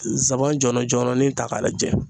Zanban jɔlɔ jɔlɔnin ta k'a lajɛ.